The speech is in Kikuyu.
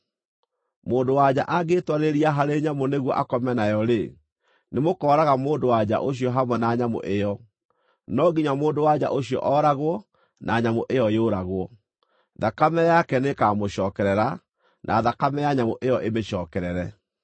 “ ‘Mũndũ-wa-nja angĩĩtwarĩrĩra harĩ nyamũ nĩguo akome nayo-rĩ, nĩmũkooraga mũndũ-wa-nja ũcio hamwe na nyamũ ĩyo. No nginya mũndũ-wa-nja ũcio ooragwo na nyamũ ĩyo yũragwo; thakame yake nĩĩkamũcookerera, na thakame ya nyamũ ĩyo ĩmĩcookerere.